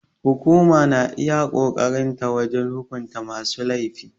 Hukuma na iya ƙoƙarin ta wajen hukunta masu laifi.